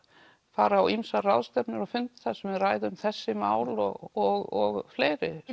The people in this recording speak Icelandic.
fara á ýmsar ráðstefnur og fundi þar sem við ræðum þessi mál og og fleiri